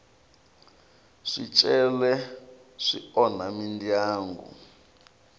swicele swi onha mindyangu